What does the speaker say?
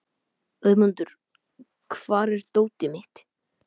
Auðmundur, hvar er dótið mitt?